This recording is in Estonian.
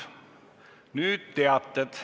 Nüüd teated.